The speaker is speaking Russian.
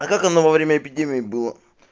а как она во время эпидемии было